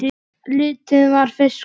Lífið var fiskur.